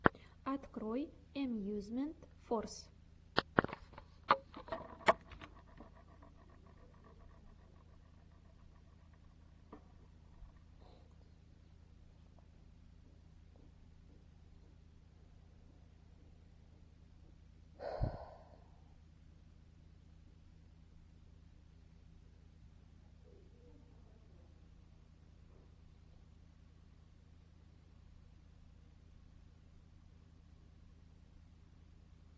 открой эмьюзмент форс